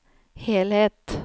helhet